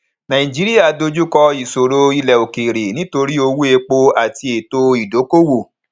nàìjíríà dojú kọ ìṣòro ilẹ òkèèrè nítorí owó epo àti ètò ìdókoowò